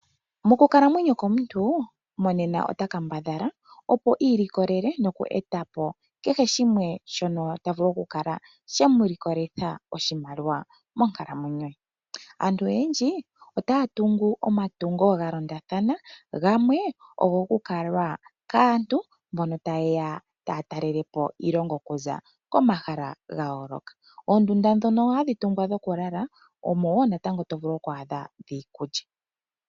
Mokukalamwenyo komuntu monena ota kambadhala opo i ilikolele noku eta po kehe shimwe shono ta vulu okukala she mu likolitha oshimaliwa monkalamwenyo ye. Aantu oyendji otaya tungu omatungo ga londathana, gamwe ogokukalwa kaantu mbono taya talele po iilongo okuza komahala ga yooloka. Oondunda ndhono hadhi tungwa dhokulala omo wo natango to vulu oku adha dhiikulya.